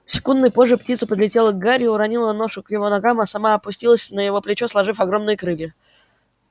секундой позже птица подлетела к гарри уронила ношу к его ногам а сама опустилась на его плечо сложив огромные крылья